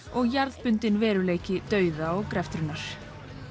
og jarðbundinn veruleiki dauða og greftrunar